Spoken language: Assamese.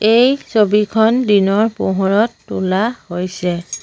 এই ছবিখন দিনৰ পোহৰত তোলা হৈছে।